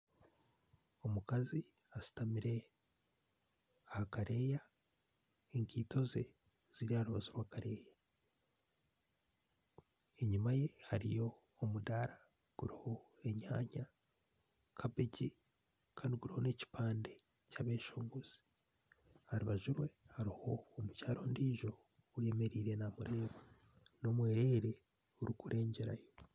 Omukazi ashutamire ahakadeeya ekaito ze ziri aha rubaju rwakadeeya enyuma ye hariho omudaara guriho enyaanya kabeegi Kandi guriho nekipande kyabeshongozi aharubaju rwe hariho omukyaara ondiijo ayemereire namureeba